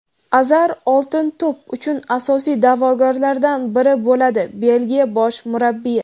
Azar "Oltin to‘p" uchun asosiy daʼvogarlardan biri bo‘ladi – Belgiya bosh murabbiyi.